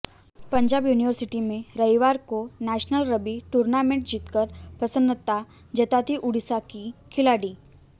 Punjab university में रविवार को नेशनल रग्बी टूर्नामेंट जीतकर प्रसन्नता जताती उड़ीसा की खिलाड़ी